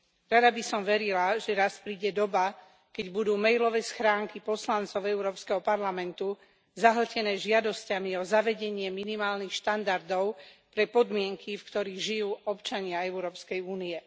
Rada by som verila, že raz príde doba, keď budú mailové schránky poslancov Európskeho parlamentu zahltené žiadosťami o zavedenie minimálnych štandardov pre podmienky, v ktorých žijú občania Európskej únie.